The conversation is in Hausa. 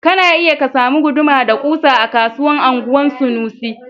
Kana iya ka samu guduma da kusa a kasuwan anguwan sanusi